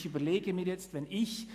Ich überlege mir jetzt Folgendes: